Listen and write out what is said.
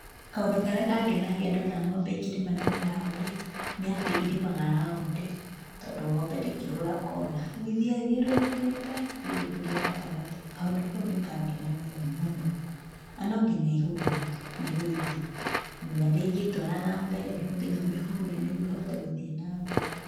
Kaũndũ karĩa kangenagia ndona ng'ombe ikĩrĩma na mĩraũ rĩ, nĩ atĩ irĩmaga raũndi tondũ ng'ombe ndĩngĩhũra kona, rĩu ithiaga ithiũrũrũkĩte cirĩrĩkĩria gatagatĩ, kaũndũ kau nĩ kangenagia mũno. Na no nginya ihũrwo nĩguo ithiĩ, tamenya ndĩngĩtwara na mbere no nginya ũmĩhũre nĩguo ĩhote gũthiĩ na mbere.